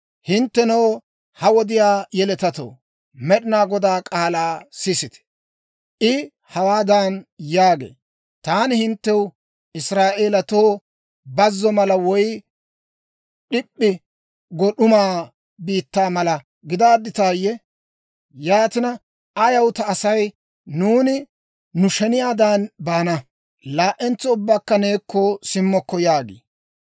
Hinttenoo, ha wodiyaa yeletatoo, Med'inaa Godaa k'aalaa sisite! I hawaadan yaagee; «Taani hinttew, Israa'elatoo bazzo mala woy d'ip'p'i go d'uma biittaa mala gidaadditayye? Yaatina, ayaw ta asay, ‹Nuuni nu sheniyaadan baana; laa"entso ubbakka neekko simmokko› yaagii?